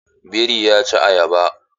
Biri ya ci ayaba.